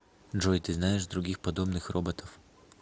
джой ты знаешь других подобных роботов